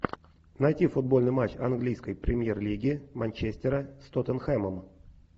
найти футбольный матч английской премьер лиги манчестера с тоттенхэмом